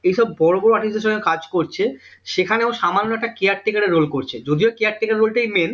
এই সব বড় বড় artist দের সঙ্গে কাজ করছে সেখানে ও সামান্য একটা caretaker এর role করছে যদিও caretaker এর role টাই main